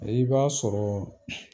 I b'a sɔrɔ